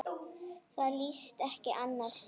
Það líðst ekki annars staðar.